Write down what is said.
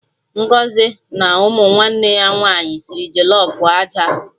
Ngọzi na ụmụ nwanne ya nwaanyị sịrị jollof aja